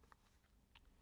DR2